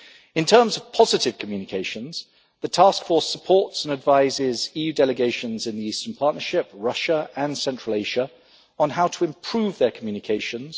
In terms of positive communication, the Task Force supports and advises EU delegations in the Eastern Partnership, Russia and Central Asia on how to improve their communications.